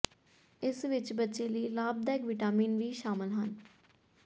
ਇਸ ਵਿਚ ਬੱਚੇ ਲਈ ਲਾਭਦਾਇਕ ਵਿਟਾਮਿਨ ਵੀ ਸ਼ਾਮਲ ਹਨ